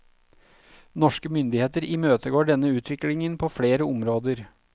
Norske myndigheter imøtegår denne utviklingen på flere områder.